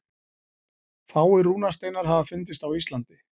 Fáir rúnasteinar hafa fundist á Íslandi.